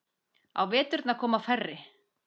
Á veturna koma færri.